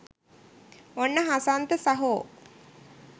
ඔන්න හසන්ත සහෝ